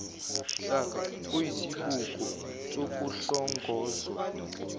hlaka luyisibuko sokuhlongozwe